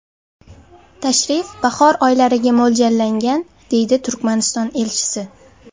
Tashrif bahor oylariga mo‘ljallangan”, deydi Turkmaniston elchisi.